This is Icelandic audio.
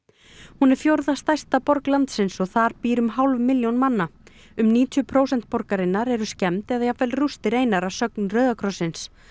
hún er fjórða stærsta borg landsins og þar býr um hálf milljón manna um níutíu prósent borgarinnar eru skemmd eða jafnvel rústir einar að sögn Rauða krossins